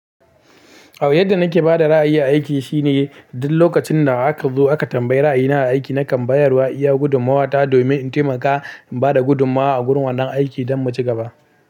A wajen da nake bada ra'ayi aiki shine duk lokacin da aka zo aka tambayi ra'ayina aiki nakan bayarwa iya gudummawa ta domin in taimaka in bada gudummawa a gurin wannan aiki don mu ci gaba.